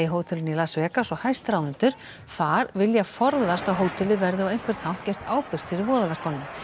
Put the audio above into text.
hótelinu í Las Vegas og hæstráðendur þar vilja forðast að hótelið verði á einhvern hátt gert ábyrgt fyrir voðaverkunum